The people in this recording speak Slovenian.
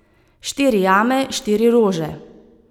Štiri jame, štiri rože.